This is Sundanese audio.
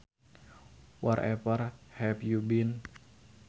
Wherever have you been